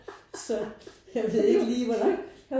Så jeg ved ikke lige hvor langt